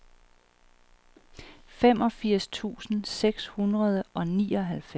femogfirs tusind seks hundrede og nioghalvfems